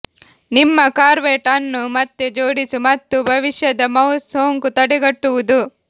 ನಿಮ್ಮ ಕಾರ್ವೆಟ್ ಅನ್ನು ಮತ್ತೆ ಜೋಡಿಸು ಮತ್ತು ಭವಿಷ್ಯದ ಮೌಸ್ ಸೋಂಕು ತಡೆಗಟ್ಟುವುದು